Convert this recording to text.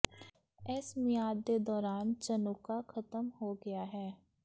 ਇਸ ਮਿਆਦ ਦੇ ਦੌਰਾਨ ਚਨੁਕਾਹ ਖਤਮ ਹੋ ਗਿਆ ਹੈ